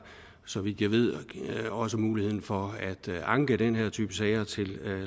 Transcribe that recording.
så vidt jeg ved også muligheden for at anke den her type sager til